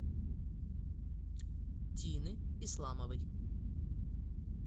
тины исламовой